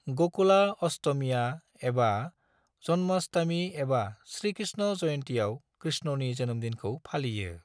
गकुला अष्टमिआ एबा जन्माष्टमि एबा श्री कृष्ण जयन्तिआव कृष्णनि जोनोमदिनखौ फालियो ।